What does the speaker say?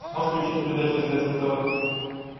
можешь включить передачу стс на тв